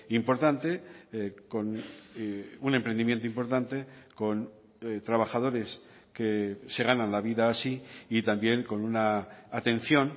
importante con un emprendimiento importante con trabajadores que se ganan la vida así y también con una atención